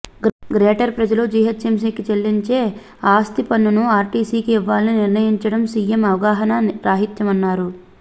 greater ప్రజలు జీహెచ్ఎంసీకి చెల్లించే ఆస్తిపన్నును ఆర్టీసికి ఇవ్వాలని నిర్ణయించడం సీఎం అవగాహనా రాహిత్యమన్నారు